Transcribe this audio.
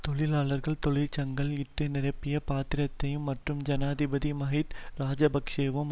தொழிலாளர்கள் தொழிற்சங்கள் இட்டு நிரப்பிய பாத்திரத்தையும் மற்றும் ஜனாதிபதி மஹிந் இராஜபக்ஷவும்